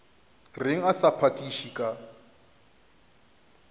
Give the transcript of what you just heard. reng a sa phakiše ka